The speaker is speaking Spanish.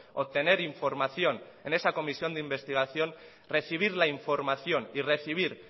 obtener información en esa comisión de investigación recibir la información y recibir